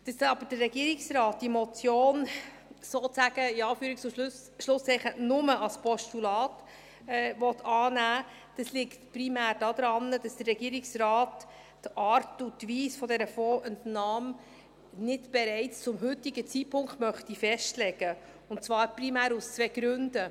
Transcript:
Dass aber der Regierungsrat diese Motion sozusagen nur – in Anführungs- und Schlusszeichen – als Postulat annehmen will, liegt primär daran, dass der Regierungsrat die Art und Weise dieser Fondsentnahme nicht bereits zum heutigen Zeitpunkt festlegen möchte, und zwar primär aus zwei Gründen.